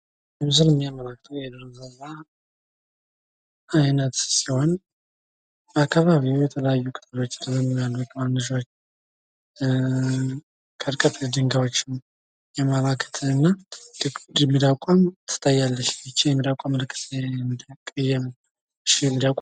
ይህ ምስል የሚያመላክተው የዱር እንሰሳ አይነት ሲሆን። በአካባቢው የተለያዩ ቅጠሎች ይታዩናል። ከርቀት ድጋዎችም ሚዳቋም ትታያለች። ይች የሚዳቋ መልክም እነደ ቀይ አይነት ነው።